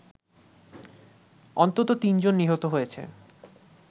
অন্তত তিনজন নিহত হয়েছে